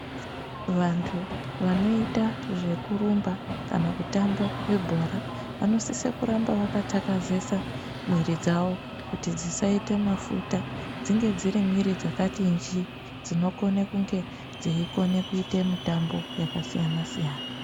Vantu vanoita zvekurumba kana kutamba vebhora vanosisa kuramba vakatakazesa mwiri dzawo kuti dzisaite mafuta dzinge dzirimwiri dzakati njiii dzinokone kunge dzeikone kuite mitambo yakasiyana siyana.